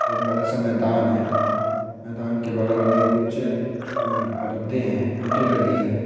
एक बड़ा सा मैदान है मैदान के बगल में कुछ अं परदे हैं टंटे लगे हैं।